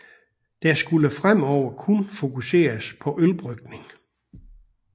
Der skulle fremover kun fokuseres på ølbrygning